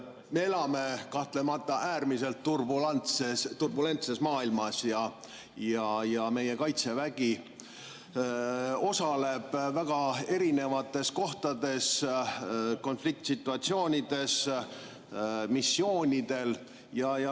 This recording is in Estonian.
Me elame kahtlemata äärmiselt turbulentses maailmas ja meie Kaitsevägi osaleb väga erinevates konfliktsituatsioonides ja missioonidel.